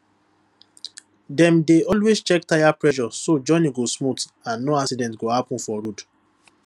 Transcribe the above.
dem dey always check tire pressure so journey go smooth and no accident go happen for road